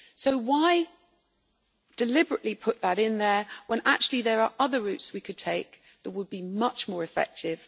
So why deliberately put that in there when, actually, there are other routes we could take that would be much more effective.